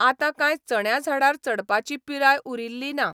आतां काय चण्या झाडार चडपाची पिराय उरिल्ली ना.